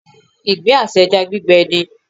Ìgbín àti ẹja gbígbẹ ni.